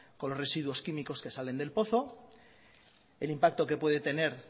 con los residuos químicos que salen del pozo el impacto que puede tener